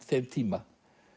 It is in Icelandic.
þeim tíma